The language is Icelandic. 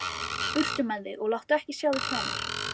Burtu með þig og láttu ekki sjá þig framar!